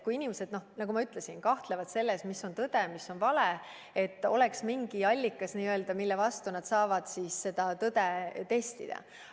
Kui inimesed, nagu ma ütlesin, kahtlevad selles, mis on tõde või mis on vale, siis oleks mingi allikas, mille põhjal nad saavad seda tõde testida.